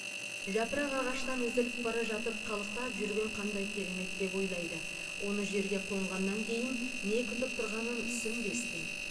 жапырақ ағаштан үзіліп бара жатып қалықтап жүрген қандай керемет деп ойлайды оны жерге қонғаннан кейін не күтіп тұрғанын түсінбестен